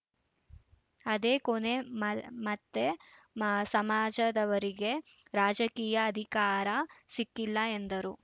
ಅದೇ ಕೊನೆ ಮ ಮತ್ತೆ ಮ ಸಮಾಜದವರಿಗೆ ರಾಜಕೀಯ ಅಧಿಕಾರ ಸಿಕ್ಕಿಲ್ಲ ಎಂದರು